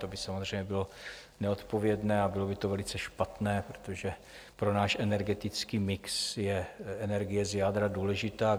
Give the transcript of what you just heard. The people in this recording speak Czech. To by samozřejmě bylo nezodpovědné a bylo by to velice špatné, protože pro náš energetický mix je energie z jádra důležitá.